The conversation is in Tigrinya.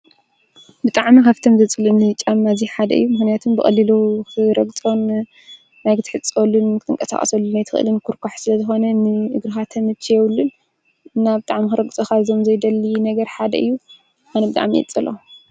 ብጣዕሚ ካብቶም ዘፅልኡኒ ጫማ እዚ ሓደ እዩ። ምኽንያቱ ብቀሊሉ ክትረግፆን ማይ ክትሕፀበሉን ክትንቀሳቀሰሉን ኣይትኽእልን ኩርኳሕ ስለ ዝኾነ ንእግርኻ ተመቺዮ የብሉን እና ብጣዕሚ ክረግፆም ካብዞም ዘይደሊ ነገር ሓደ እዩ። ኣነ ብጣዕሚ እየ ዝፀልኦ ።